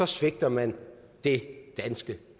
svigter man det danske